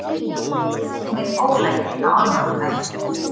Með ólæti á almannafæri